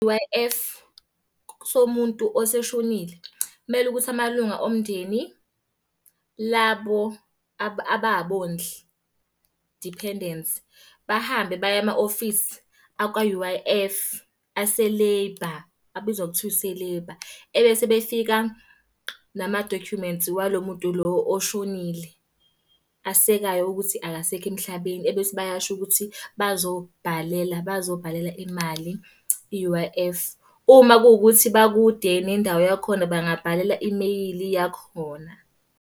U_I_F somuntu oseshonile, kumele ukuthi amalunga omndeni, labo ababondli, dependants, bahambe baye ema-ofisi akwa-U_I_F ase-labour, abizwa ngokuthiwa ise-labour. Ebese befika nama-documents walo muntu lo oshonile, asekayo ukuthi akasekho emhlabeni, ebese bayasho ukuthi bazobhalela bazobhalela imali i-U_I_F. Uma kuwukuthi bakude nendawo yakhona bengabhalela imeyili yakhona.